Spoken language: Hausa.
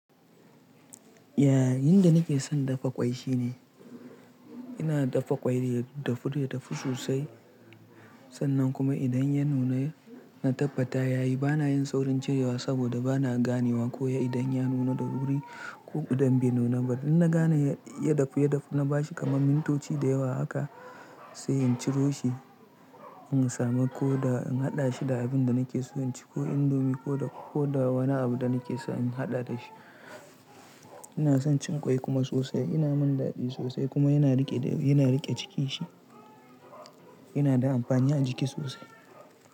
Ya, yin da nake son dafa ƙwai shine ina dafa ƙwai ya dafu ya dafu sosai. Sannan kuma idan ya nuna na tabbata yayi bana yin saurin cirewa saboda bana ganewa ko ya idan ya nuna da wuri ko idan bai nuna ba. Idan na gane ya dafu, ya dafu na bashi kamar mintoci da yawa haka sai in ciro shi. In samu koda in haɗa shi da abin da nake so, in ci ko indomi ko da, ko da wani abu da nake so in haɗa da shi. Ina son cin ƙwai kuma sosai. Yana mun daɗi sosai kuma yana riƙe da, yana riƙe ciki shi. Yana da amfani a jiki sosai.